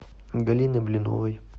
галины блиновой